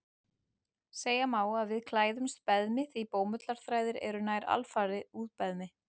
Segja má að við klæðumst beðmi því bómullarþræðir eru nær alfarið úr beðmi.